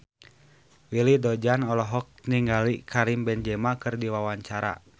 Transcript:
Willy Dozan olohok ningali Karim Benzema keur diwawancara